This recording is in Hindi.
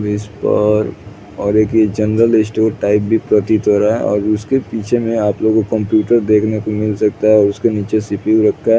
और एक यह जनर्ल स्टोर टाइप में प्रतीत हो रहा है और उसके पीछे में आप लोग को कम्प्यूटर देखने को मिल सकता है और उसके नीचे सी पि यू रखा है।